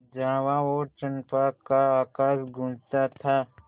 जावा और चंपा का आकाश गँूजता था